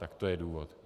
Tak to je důvod.